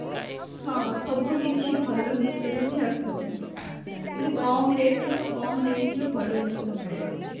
ହଁ ସବୁକିଛି ଭଲ messoho ରେ ବି ଆସୁଛି ମାନେ କମ rate ରେ କମ range ରେ ଭଲ ଜିନିଷ ମିଳିଯାଉଛି